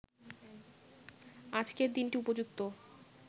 আজকের দিনটি উপযুক্ত